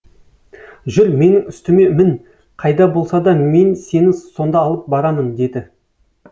жүр менің үстіме мін қайда болса да мен сені сонда алып барамын деді